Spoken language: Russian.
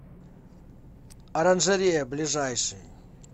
оранжерея ближайший